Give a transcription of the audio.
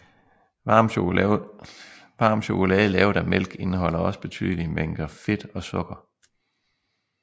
Varm chokolade lavet af mælk indeholder også betydelige mængder fedt og sukker